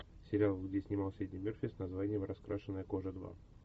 сериал где снимался эдди мерфи с названием раскрашенная кожа два